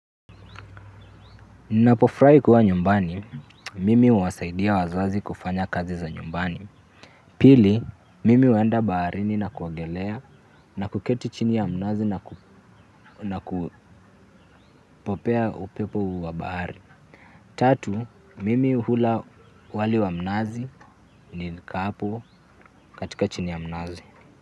Napo furahi kuwa nyumbani, mimi huwa saidia wazazi kufanya kazi za nyumbani. Pili, mimi huenda baharini na kuogelea na kuketi chini ya mnazi na kupokea upepo wa bahari. Tatu, mimi hula wali wa mnazi kikikaa hapo chini ya mnazi.